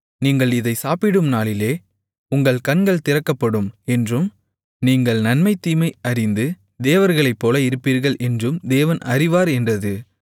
நீங்கள் இதை சாப்பிடும் நாளிலே உங்கள் கண்கள் திறக்கப்படும் என்றும் நீங்கள் நன்மை தீமை அறிந்து தேவர்களைப்போல இருப்பீர்கள் என்றும் தேவன் அறிவார் என்றது